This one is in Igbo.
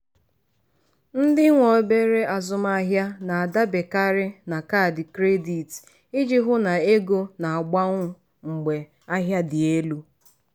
ndị nwe obere azụmahịa na-adaberekarị na kaadị credit iji hụ na ego na-agbanwu mgbe ahịa dị elu.